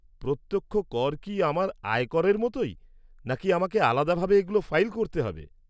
প্রত্যক্ষ কর কি আমার আয় করের মতোই, নাকি আমাকে আলাদাভাবে এগুলো ফাইল করতে হবে?